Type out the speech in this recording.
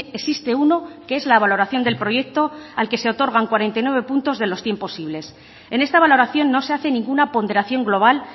existe uno que es la valoración del proyecto al que se otorgan cuarenta y nueve puntos de los cien posibles en esta valoración no se hace ninguna ponderación global